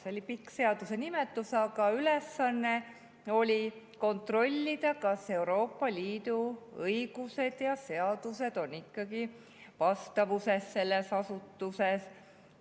See on pikk seaduse nimetus, aga ülesanne on kontrollida, kas Euroopa Liidu õigus, seadused ikkagi asutuses.